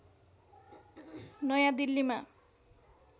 नयाँ दिल्लीमा